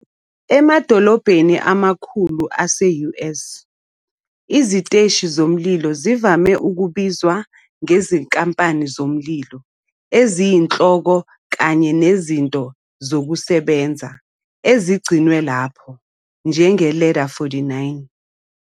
Emadolobheni amakhulu ase-US, iziteshi zomlilo zivame ukubizwa ngezinkampani zomlilo eziyinhloko kanye nezinto zokusebenza ezigcinwe lapho, njenge "Ladder 49".